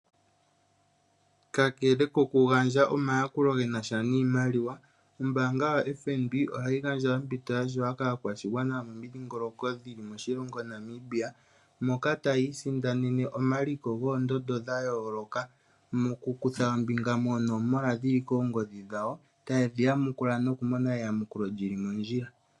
Ka kele ko ku gandja omayakulo ge na sha niimaliwa, ombaanga yoFNB ohayi gandja ompito ya shewa kaakwashigwana yomomidhingoloko dhili moshilongo Namibia, moka tayi isindanene omaliko goondondo dha yooloka, moku kutha ombinga moonomola dhili koongodhi dhawo, taye dhi yamukula noku mona eyamukulo lyili mondjila.